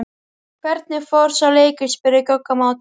Hvernig fór sá leikur? spurði Gugga á móti.